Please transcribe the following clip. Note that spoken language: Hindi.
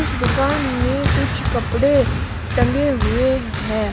इस दुकान में कुछ कपड़े टंगे हुए है।